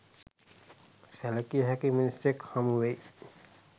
සැලකිය හැකි මිනිසෙක් හමු වෙයි.